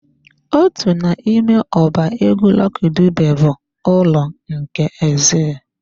Otu n'ime ọba egwu Lucky Dube bụ "Ụlọ nke Exile"